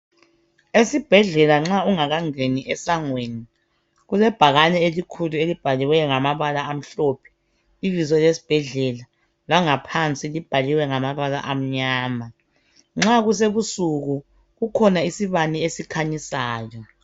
Esibhedlela nxa ungakangeni esangweni kulebhakane elikhulu elibhaliweyo ngamabala amhlophe ibizo lesibhedlela. Langaphansi libhaliwe ngamabala amnyama. Nxa kusebusuku kukhona isibane esikhanyisayo.